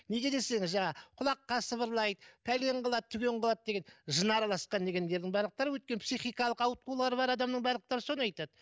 неге десеңіз жаңағы құлаққа сыбырлайды пәлен қылады түген қылады деген жын араласқан дегендердің барлықтары өткен психикалық ауытқулары бар адамның барлықтары соны айтады